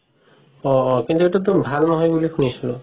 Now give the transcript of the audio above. অ অ কিন্তু সেইটো ভাল নহয় বুলি শুনিছিলো